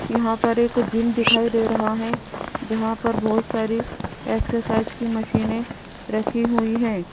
यहां पर एक जिम दिखाई दे रहा है जहां पर बहुत सारी एक्सरसाइज की मशीने है रखी हुई है।